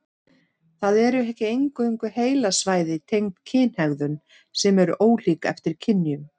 Það eru ekki eingöngu heilasvæði tengd kynhegðun sem eru ólík eftir kynjum.